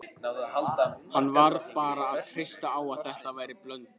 Hann varð bara að treysta á að þetta væri Blönduós.